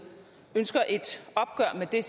er det